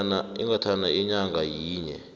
ingathatha inyanga yinye